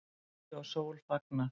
Sumri og sól fagnað